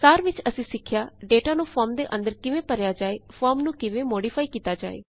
ਸਾਰ ਵਿੱਚ ਅਸੀਂ ਸਿੱਖਿਆ ਡੇਟਾ ਨੂੰ ਫੋਰਮ ਦੇ ਅੰਦਰ ਕਿਵੇਂ ਭਰਿਆ ਜਾਏ ਫੋਰਮ ਨੂੰ ਕਿਵੇਂ ਮੌਡਿਫਾਈ ਕੀਤਾ ਜਾਏ